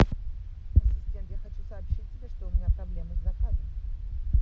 ассистент я хочу сообщить тебе что у меня проблемы с заказом